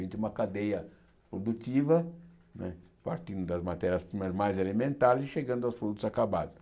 Vem de uma cadeia produtiva né, partindo das matérias mais mais elementares e chegando aos produtos acabados.